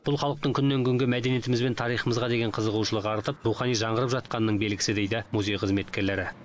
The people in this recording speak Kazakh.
бұл халықтың күннен күнге мәдениетіміз бен тарихымызға деген қызығушылығы артып рухани жаңғырып жатқанының белгісі дейді музей қызметкерлері